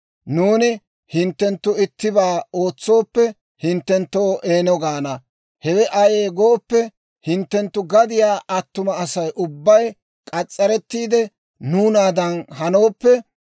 Nuuni hinttenttu ittibaa ootsooppe hinttenttoo, ‹Eeno› gaana; hewe ayee gooppe, hinttenttu gadiyaa attuma Asay ubbay k'as's'arettiide nuunaadan hanooppe,